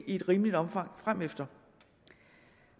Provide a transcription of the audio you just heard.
et rimeligt omfang fremefter